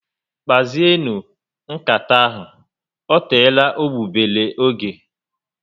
Kpazienu nkata ahụ, ọ teela egbugbere ógè